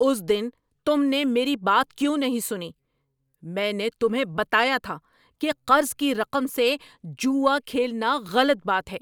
اس دن تم نے میری بات کیوں نہیں سنی؟ میں نے تمہیں بتایا تھا کہ قرض کی رقم سے جوا کھیلنا غلط بات ہے۔